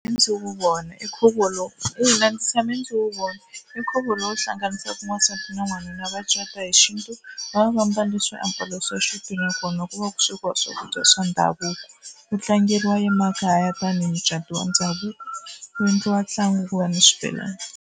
Ndzi wu vona i nkhuvo lowu ina ndzi tshame ndzi wu vona i nkhuvo lowu hlanganisaka wansati na wanuna va cata hi xintu. Va va va mbale swiambalo swa xintu nakona ku va ku swekiwa swakudya swa ndhavuko. Wu tlangeriwa emakaya tanihi mucato wa ndhavuko ku endliwa ntlangu ku va ni xibelani.